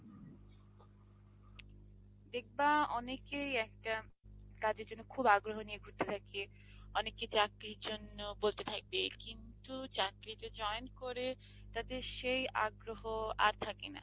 দেখবা অনেকেই একটা কাজের জন্য খুব আগ্রহ নিয়ে ঘুরতে থাকে, অনেকে চাকরির জন্য বলতে থাকে কিন্তু চাকরিতে join করে তাদের সেই আগ্রহ আর থাকে না।